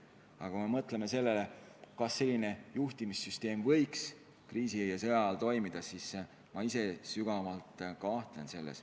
Aga kui mõelda sellele, kas niisugune juhtimissüsteem võiks kriisi ja sõja ajal toimida, siis ma sügavalt kahtlen selles.